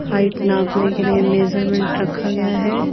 Height नापने के लिए मेजरमेंट रखा गया है।